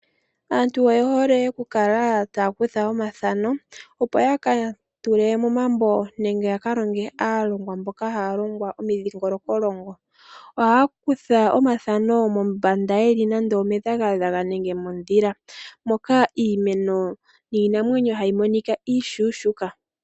Aantu oyehole okukala taakutha omathano opo yaka tule momambo nenge yaka longe aalongwa mboka haya longwa omidhingoloko longo. Ohaya kutha omathano mombanda yeli nande omedhakadhaka nenge modhila moka iimeno nii namwenyo hayi monika iishuushuka.